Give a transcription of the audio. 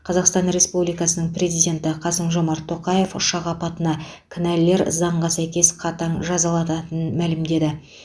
қазақстан республикасының президенті қасым жомарт тоқаев ұшақ апатына кінәлілер заңға сәйкес қатаң жазаладатын мәлімдеді